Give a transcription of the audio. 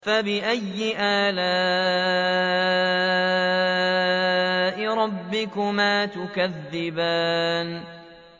فَبِأَيِّ آلَاءِ رَبِّكُمَا تُكَذِّبَانِ